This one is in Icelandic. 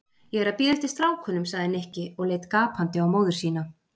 Ég er að bíða eftir strákunum sagði Nikki og leit gapandi á móður sína.